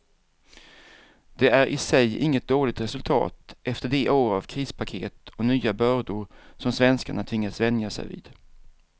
Det är i sig inget dåligt resultat efter de år av krispaket och nya bördor som svenskarna tvingats vänja sig vid.